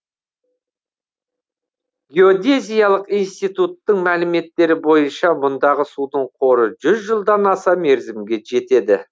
геодезиялық институттың мәліметтері бойынша мұндағы судың қоры жүз жылдан аса мерзімге жетеді